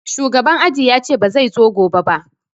Shugaban aji yace ba zai zo gobe ba